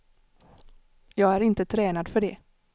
Jag är inte tränad för det.